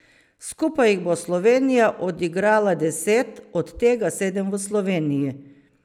Skupaj jih bo Slovenija odigrala deset, od tega sedem v Sloveniji.